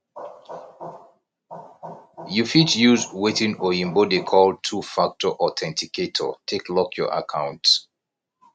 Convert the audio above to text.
you fit use wetin oyibo dey call two factor authenticator take lock your accounts